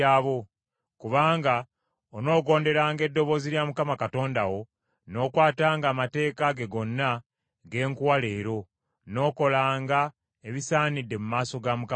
kubanga onoogonderanga eddoboozi lya Mukama Katonda wo n’okwatanga amateeka ge gonna ge nkuwa leero, n’okolanga ebisaanidde mu maaso ga Mukama Katonda wo.